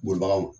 Bolibagaw ma